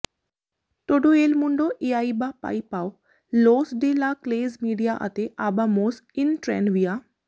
ਟੌਡੋ ਏਲ ਮੁੰਡੋ ਇਆਇਬਾ ਪਾਈ ਪਾਓ ਲੋਸ ਡੇ ਲਾ ਕਲੇਜ਼ ਮੀਡੀਆ ਅਤੇ ਆਬਾਮੌਸ ਇਨ ਟ੍ਰੈਨਵਿਆ